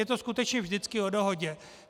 Je to skutečně vždycky o dohodě.